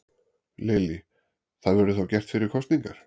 Lillý: Það verður þá gert fyrir kosningar?